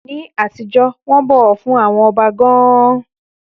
Ní àtijọ́, wọ́n bọ̀wọ̀ fún ọba gan-an.